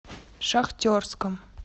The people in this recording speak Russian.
шахтерском